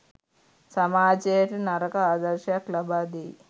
සමාජයට නරක ආදර්ශයක් ලබා දෙයි